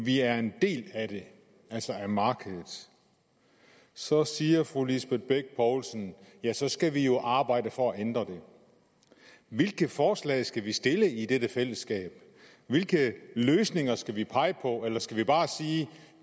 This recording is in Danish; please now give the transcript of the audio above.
vi er en del af det altså af markedet så siger fru lisbeth bech poulsen at så skal vi jo arbejde for at ændre det hvilke forslag skal vi stille i dette fællesskab hvilke løsninger skal vi pege på eller skal vi bare sige